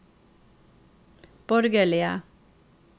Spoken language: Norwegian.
borgerlige